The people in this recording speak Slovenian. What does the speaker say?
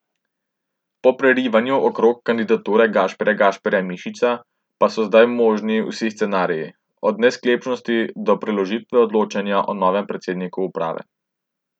Po prerivanjih okoli kandidature Gašparja Gašparja Mišiča pa so zdaj možni vsi scenariji, od nesklepčnosti do preložitve odločanja o novem predsedniku uprave.